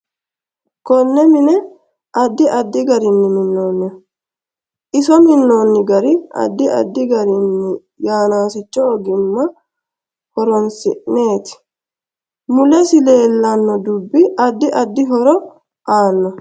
Konne mine addi addi garini minooniho iso minooni gari addi addi garinni yannasicho ogimma horoonsineeti mulesi leelano dubbi addi addi horo aannoho